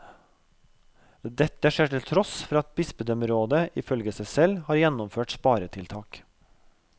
Dette skjer til tross for at bispedømmerådet ifølge seg selv har gjennomført sparetiltak.